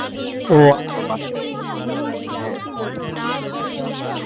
উহ আসলে খুব দুঃখের সংবাদ